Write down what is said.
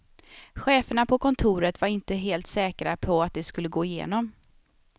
Cheferna på kontoret var inte helt säkra på att det skulle gå igenom.